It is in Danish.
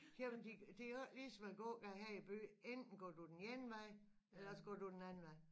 Jamen de det jo ikke lige som æ gågade her i byen enten så går du den ene vej eller også går du den anden vej